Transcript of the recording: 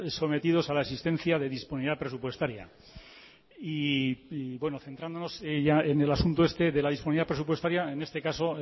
sometidos a la existencia de disponibilidad presupuestaria y bueno centrándonos ya en el asunto este de la disponibilidad presupuestaria en este caso